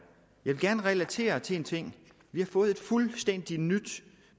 vil gerne relatere til en ting vi har fået et fuldstændig nyt